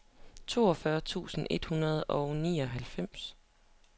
toogfyrre tusind et hundrede og nioghalvfems